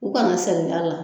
U kana saliya la.